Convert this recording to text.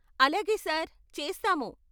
అలాగే సార్, చేస్తాము.